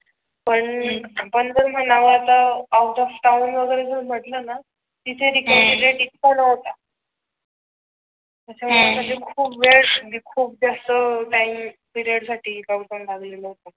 पण आपण जर म्हणावं आता आऊट ऑफ टाऊन वगैरे जर म्हटलं ना तिथे रिकव्हरी रेट इतका नव्हता अच्छा म्हणजे खूप वेळ खूप जास्त टाइम पिरेड साठी लोकडाऊन लागला होता.